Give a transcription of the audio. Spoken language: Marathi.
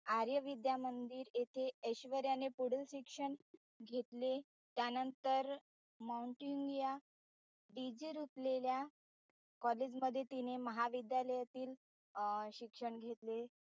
आर्यविद्यामंदिर येथे ऎश्व्र्या ने पुढील शिक्षण घेतले त्यांनतर माऊंटेनिया DJ रुपलेल्या college मध्ये तिने महाविद्यालयातील शिक्षण घेतले.